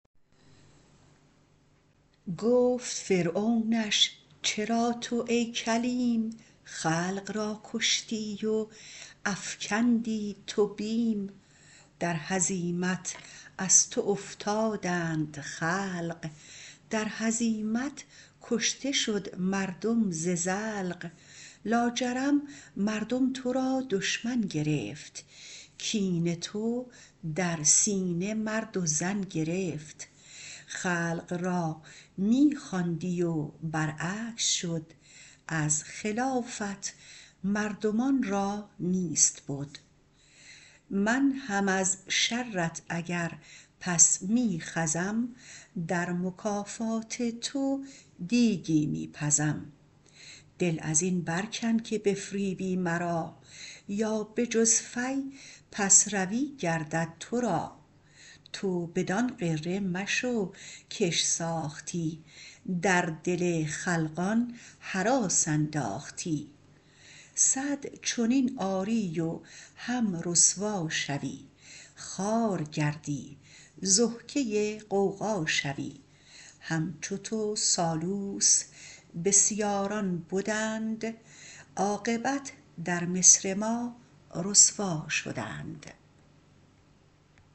گفت فرعونش چرا تو ای کلیم خلق را کشتی و افکندی تو بیم در هزیمت از تو افتادند خلق در هزیمت کشته شد مردم ز زلق لاجرم مردم تو را دشمن گرفت کین تو در سینه مرد و زن گرفت خلق را می خواندی بر عکس شد از خلافت مردمان را نیست بد من هم از شرت اگر پس می خزم در مکافات تو دیگی می پزم دل ازین بر کن که بفریبی مرا یا به جز فی پس روی گردد تو را تو بدان غره مشو کش ساختی در دل خلقان هراس انداختی صد چنین آری و هم رسوا شوی خوار گردی ضحکه غوغا شوی همچو تو سالوس بسیاران بدند عاقبت در مصر ما رسوا شدند